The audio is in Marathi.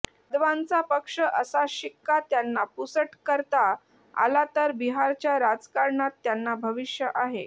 यादवांचा पक्ष असा शिक्का त्यांना पुसट करता आला तर बिहारच्या राजकारणात त्यांना भविष्य आहे